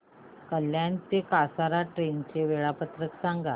कल्याण ते कसारा ट्रेन चे वेळापत्रक सांगा